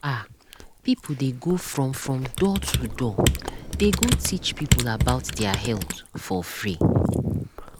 ah people dey go from from door to door they go teach people about their health for free.